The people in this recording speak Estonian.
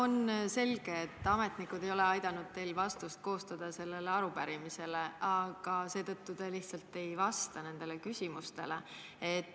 On selge, et ametnikud ei ole aidanud teil vastust sellele arupärimisele koostada, seetõttu te lihtsalt ei vasta nendele küsimustele.